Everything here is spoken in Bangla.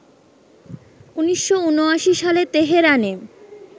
১৯৭৯ সালে তেহরানে